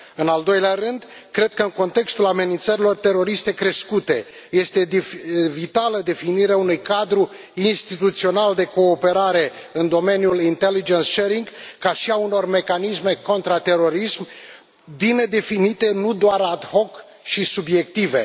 În al doilea rând, cred că, în contextul amenințărilor teroriste crescute, este vitală definirea unui cadru instituțional de cooperare în domeniul ca și a unor mecanisme contraterorism bine definite, nu doar și subiective.